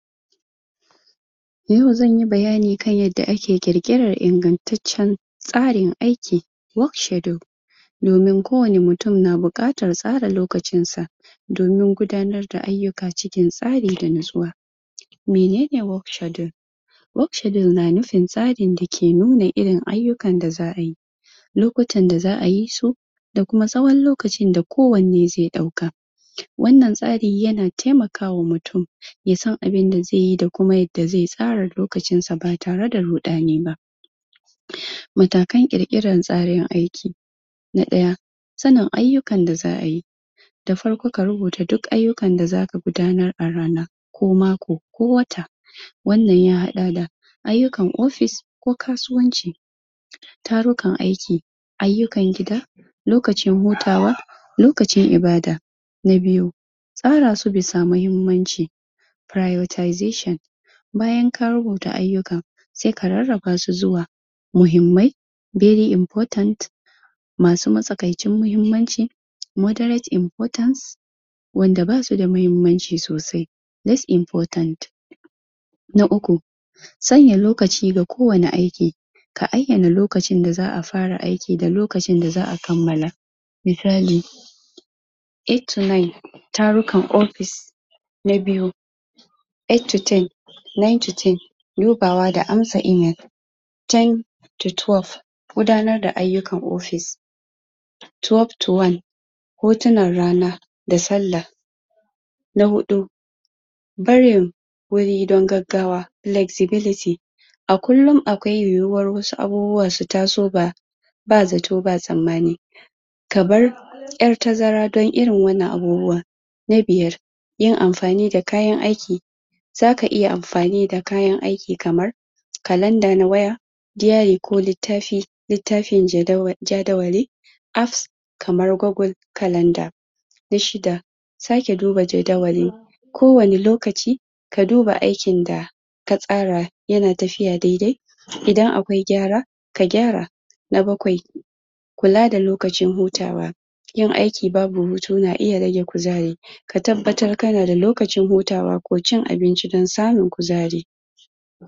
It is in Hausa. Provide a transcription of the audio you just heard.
A wannan hoto dai dake gaban wannan wani gari ne ko ince wani ɗan ƙaramin gari da ake kiranshi rokeosaso wannan sunan gari ne wannan sunan gari ne rokeosaso gari ne wanda yake kudu, kudancin najeriya. Gari wanda dai za’ace mazaunan garin nan ‘yan’ kasuwa ne kuma gari ne wanda tsoho gari ne yanada tarihi sosai zamuga alaman wannan hoto an ɗaukeshi ne dai akan dutsene a ƙasa ga gidajenan haka haka haka to kuma inka kalla da kyau ko kika kalla da kyau zakaga wannan gidaje ne. kuma gari ne wanda akwai duwatsu sosai wanda aka ɗauka hoto akan dutse, kuma wannan gari mutane sukanzo suzo su hau kan duwatsen suzo sui yawo saboda tarihi kuma su zosu ɗauki hoto da yake garin yanada tarihi sosai sosai. So mutane anan gida najeriya da kuma waje sukan zo don suga wannan gari suji tarihin wannan gari su dudduba abubuwa da sukji ana basu labara kuma suzo suma su ɗauki hoto. So wannan gari dai shahararren gari ne wanda an sanshi a najeriya da kuma afurika kuma gari dai wanda yanada asali sosai Kaman yanda na faɗa gari ne da akawi manoma suna noma suna kiwo sana’a banda sana’a akwai ma’aikatan gwamnatiwanda baza’a rasa ba to garin dai akwai tarihi sosai kuma muna alfahari dashi mu ‘yan’ najeriya dakuma ‘yan’ kudancin najeriya.